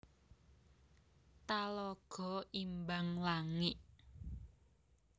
Talago Imbang Langik